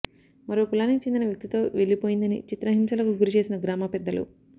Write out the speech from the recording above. మరో కులానికి చెందిన వ్యక్తితో వెళ్లిపోయిందని చిత్రహింసలకు గురిచేసిన గ్రామ పెద్దలు